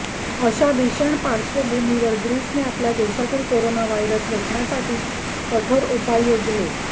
अशा भीषण पार्श्वभूमीवर ग्रीसने आपल्या देशातील कोरोना व्हायरस रोखण्यासाठी कठोर उपाय योजले